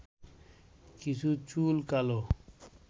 কিছু চুল কালো